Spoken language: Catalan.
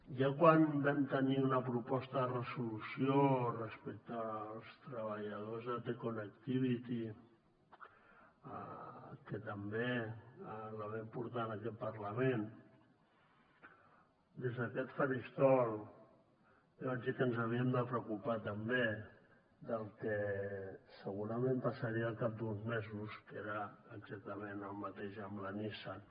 ja quan vam tenir una proposta de resolució respecte als treballadors de te connectivity que també la vam portar en aquest parlament des d’aquest faristol ja vaig dir que ens havíem de preocupar també del que segurament passaria al cap d’uns mesos que era exactament el mateix amb la nissan